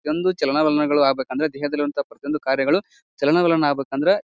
ಒಂದು ಚಲನ ವಲನಗಳು ಆಗ್ಬೇಕಂದ್ರೆ ದೇಹದಲ್ಲಿರೋ ಪ್ರತಿಯೊಂದು ಕಾರ್ಯಗಳು ಚಲನ ವಲನ ಆಗ್ಬೇಕಂದ್ರ --